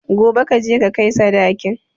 Gobe kaje ka kai sadakin